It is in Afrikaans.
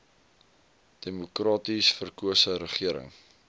demokraties verkose regering